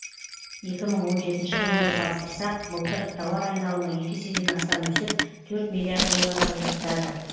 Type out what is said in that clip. екі мың он жетінші жылмен салыстырсақ былтыр тауар айналымы екі еседен астам өсіп төрт миллиард долларға жуықтады